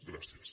gràcies